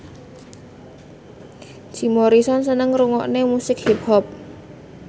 Jim Morrison seneng ngrungokne musik hip hop